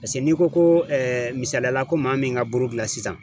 n'i ko ko misaliyala ko maa min ka buru dilan sisan